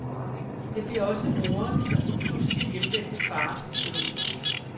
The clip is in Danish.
Det bliver også moderens og den pludselig hjemvendte faders død.